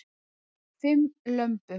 Bar fimm lömbum